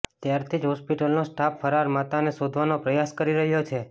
ત્યારથી જ હોસ્પિટલનો સ્ટાફ ફરાર માતાને શોધવાનો પ્રયાસ કરી રહ્યો છે